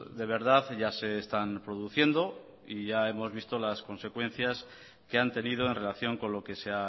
de verdad ya se están produciendo y ya hemos visto las consecuencias que han tenido en relación con lo que se